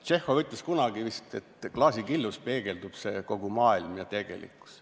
Tšehhov ütles kunagi vist, et klaasikillus peegeldub kogu maailm ja tegelikkus.